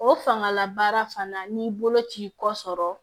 O fangala baara fana n'i bolo ci kɔ sɔrɔ